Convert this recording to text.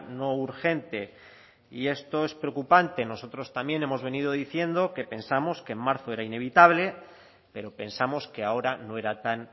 no urgente y esto es preocupante nosotros también hemos venido diciendo que pensamos que en marzo era inevitable pero pensamos que ahora no era tan